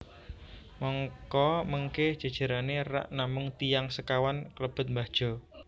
Mangka mengke jejerane rak namung tiyang sekawan klebet Mbah Jo